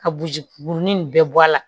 Ka buruji kurunin in bɛɛ bɔ a la